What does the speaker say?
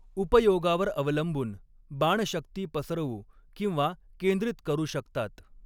उपयोगावर अवलंबून, बाण शक्ती पसरवू किंवा केंद्रित करू शकतात.